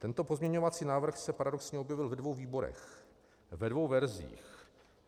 Tento pozměňovací návrh se paradoxně objevil ve dvou výborech, ve dvou verzích.